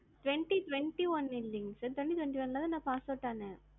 twenty twenty one இல்ல sir twenty twenty one ல தான் நான் passed out ஆனேன்.